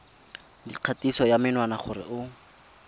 dikgatiso ya menwana gore o